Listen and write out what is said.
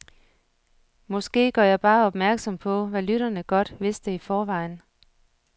Måske gør jeg bare opmærksom på, hvad lytterne godt vidste i forvejen.